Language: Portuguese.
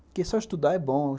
Porque só estudar é bom.